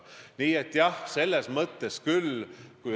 Suur tänu teile selle küsimuse eest!